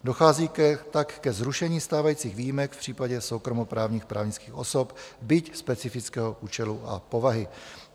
Dochází tak ke zrušení stávajících výjimek v případě soukromoprávních právnických osob, byť specifického účelu a povahy.